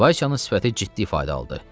Vasyanın sifəti ciddi ifadə aldı.